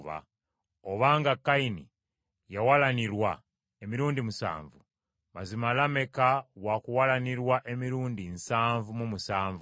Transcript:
Obanga Kayini yawalanirwa emirundi musanvu, mazima Lameka wa kuwalanirwa emirundi nsanvu mu musanvu.”